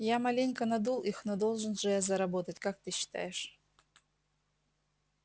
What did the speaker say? я маленько надул их но должен же я заработать как ты считаешь